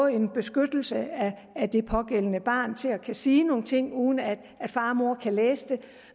en beskyttelse af det pågældende barn til at sige nogle ting uden at far og mor kan læse det